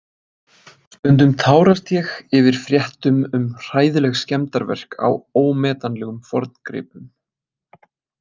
Stundum tárast ég yfir fréttum um hræðileg skemmdarverk á ómetanlegum forngripum.